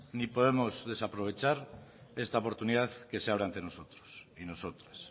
ni podemos desaprovechar esta oportunidad que se abre ante nosotros y nosotras